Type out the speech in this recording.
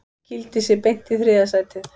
Kýldi sig beint í þriðja sætið